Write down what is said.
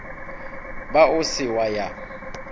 ba o se wa ya